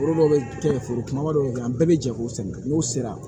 Foro dɔw bɛ kɛ foro kumaba dɔw bɛ kɛ an bɛɛ bɛ jɛ k'u sɛgɛn n'u sera